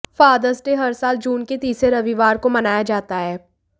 fathers Day हर साल जून के तीसरे रविवार को मनाया जाता है